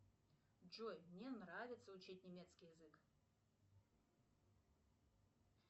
джой мне нравится учить немецкий язык